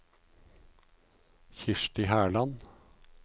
Kirsti Herland